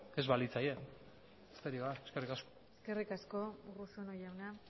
ez balitzaie besterik gabe eskerrik asko eskerrik asko urruzuno jauna